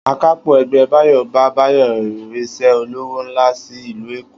Akápò̩ e̩gbé̩ Báyò bá Báyò̩ rís̩é̩ olówó ńlá sí ìlú Èkó